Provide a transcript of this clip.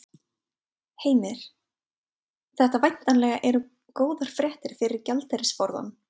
Heimir: Þetta væntanlega eru góðar fréttir fyrir gjaldeyrisforðann?